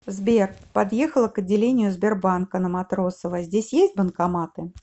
сбер подъехала к отделению сбербанка на матросова здесь есть банкоматы